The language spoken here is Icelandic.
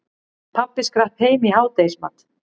Pabbi skrapp heim í hádegismat.